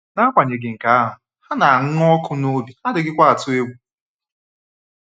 N'agbanyeghị nke ahụ, ha na-anụ ọkụ n'obi, ha adịghịkwa atụ egwu.